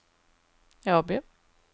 Åby